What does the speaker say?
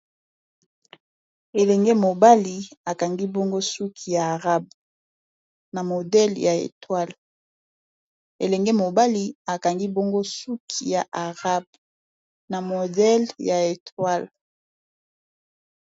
Elenge mobali akangi bongo suki ya arabe na modele ya etoile.